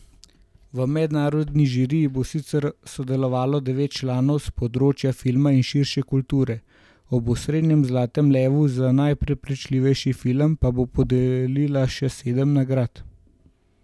V mednarodni žiriji bo sicer sodelovalo devet članov s področja filma in širše kulture, ob osrednjem zlatem levu za najprepričljivejši film pa bo podelila še sedem nagrad.